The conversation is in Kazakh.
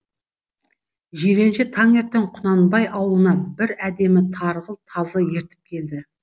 жиренше таңертең құнанбай аулына бір әдемі тарғыл тазы ертіп келді